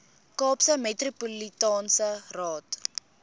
kaapse metropolitaanse raad